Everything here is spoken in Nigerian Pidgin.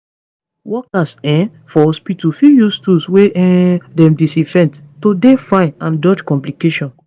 workers um for hospitu fit use tools wey um dem disinfect to dey fine and dodge complications